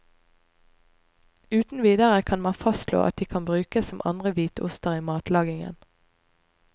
Uten videre kan man fastslå at de kan brukes som andre hvitoster i matlagingen.